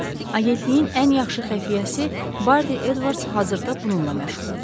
Agentliyin ən yaxşı xəfiyyəsi Bardi Edvards hazırda bununla məşğuldur.